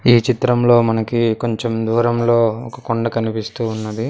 ఈ చిత్రంలో మనకి కొంచెం దూరంలో ఒక కొండ కనిపిస్తూ ఉన్నది.